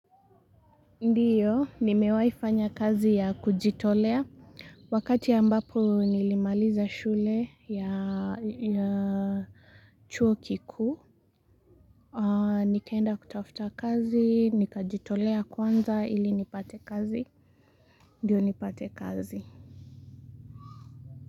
Ndiyo, nimewaifanya kazi ya kujitolea, wakati ambapo nilimaliza shule ya chuo kikuu, nikaenda kutafuta kazi, nika jitolea kwanza ili nipate kazi, ndiyo nipate kazi.